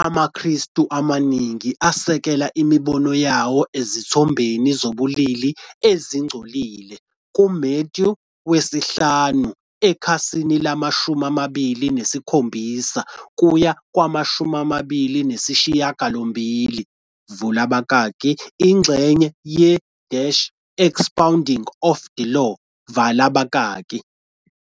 amaKristu amaningi asekela imibono yawo ezithombeni zobulili ezingcolile kuMathewu 5:27-28, vula abakaki, ingxenye ye- Expounding of the Law, vala abakaki.